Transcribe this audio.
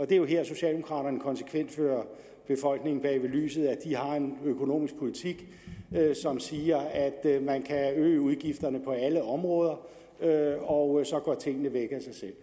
det er her socialdemokraterne konsekvent fører befolkningen bag lyset med at de har en økonomisk politik som siger at man kan øge udgifterne på alle områder og så går tingene væk af sig selv